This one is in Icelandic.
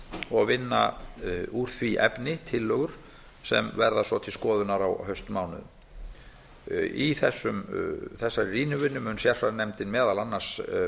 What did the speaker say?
og vinna úr því efni tillögur sem verða svo til skoðunar á haustmánuðum í þessari rýnivinnu mun sérfræðinefndin meðal annars